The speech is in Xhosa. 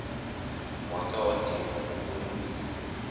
wakha wadinwa kukulungisa